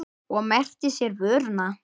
Og merkti sér vöruna.